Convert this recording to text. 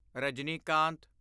Rajinikanth